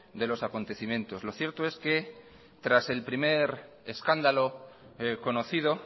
de los acontecimientos lo cierto es que tras el primer escándalo conocido